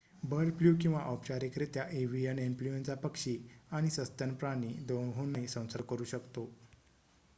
bird flu किंवा औपचारिकरित्या avian influenza पक्षी आणि सस्तन प्राणी दोहोंनाही संसर्ग करू शकतो